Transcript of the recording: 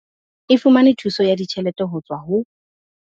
E fumane thuso ya ditjhelete ho tswa ho